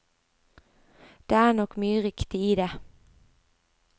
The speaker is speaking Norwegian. Det er nok mye riktig i det.